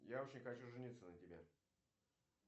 я очень хочу жениться на тебе